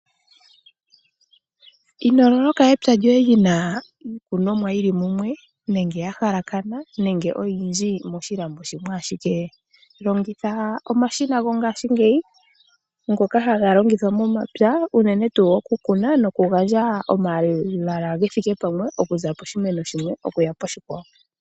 Ino loloka epya lyoye lina iikunomwa yili mumwe nenge ya halakana nenge oyindji yili moshilando shimwe ashike. Longitha omashina gongaashingeyi ngoka haga longithwa momapya unene tuu oku kuna noku gandja omalala ge thike pamwe oku za poshimeno shimwe okuya poshimeno oshikwawo.